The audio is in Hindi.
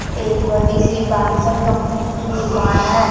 एक बड़ी सी कम्पनी की दुकान है।